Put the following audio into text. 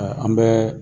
An bɛɛ